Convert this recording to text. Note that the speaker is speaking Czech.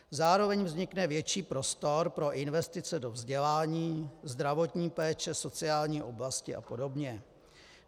Zároveň vznikne větší prostor pro investice do vzdělání, zdravotní péče, sociální oblasti a podobně.